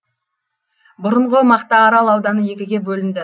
бұрынғы мақтаарал ауданы екіге бөлінді